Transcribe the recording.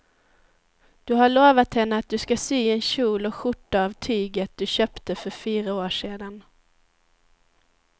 Du har lovat henne att du ska sy en kjol och skjorta av tyget du köpte för fyra år sedan.